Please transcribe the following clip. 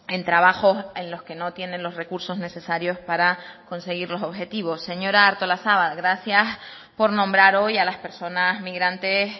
en trabajos en los que no tienen los recursos necesarios para conseguir los objetivos señora artolazabal gracias por nombrar hoy a las personas migrantes